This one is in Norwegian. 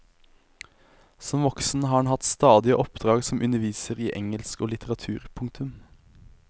Som voksen har han hatt stadige oppdrag som underviser i engelsk og litteratur. punktum